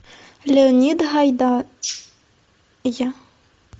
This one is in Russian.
леонид гайдай